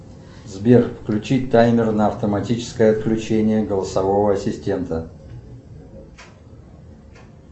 сбер включи таймер на автоматическое отключение голосового ассистента